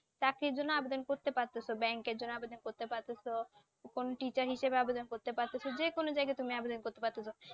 চাকরির জন্যে আবেদন করতে পারতেছো, ব্যাঙ্কের জন্য আবেদন করতে পারতেছো, কোনও teacher হিসেবে আবেদন করতে পারতেছো, যে কোনও জায়গায় তুমি আবেদন করতে পারতেছো।